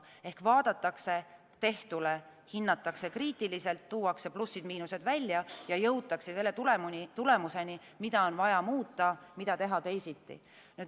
Ehk vaadatakse tehtule, hinnatakse kriitiliselt, tuuakse plussid-miinused välja ja jõutakse tulemuseni, mida on vaja muuta, mida teha teisiti.